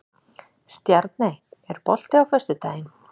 Stjarney, er bolti á föstudaginn?